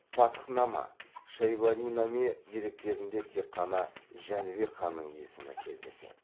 фатхнама шайбанинаме деректерінде тек қана жәнібек ханның есімі кездеседі